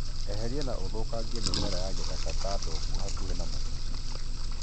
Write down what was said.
Eheria na ũthũkangie mĩmera ya gĩthaka ta ndongu hakuhĩ na mũgũnda.